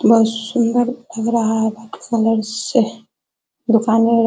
बोहोत सुंदर लग रहा है दुकानें --